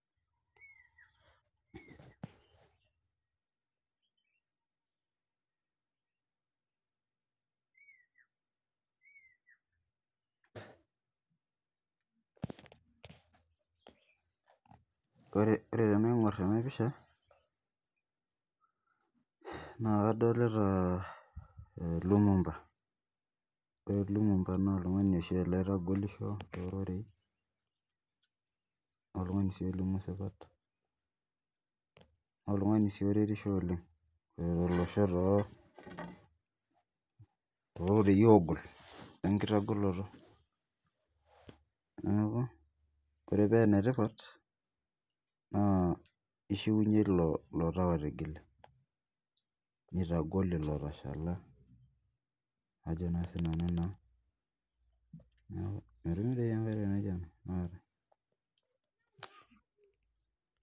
Ore tenaing'or ena pisha naa kadolita Lumumba ore Lumumba naa oltung'ani oshi ele oitagolisho tororei naa oltung'ani sii olimu esipat naa oltung'ani sii oretisho oleng aretisho too rorei ogol lenkitagoloto neeku ore pee enetipat naa kishiunye elo tau otigile nitagol elo otashala Ajo sinanu metumi aikata entoki naijio ena aikata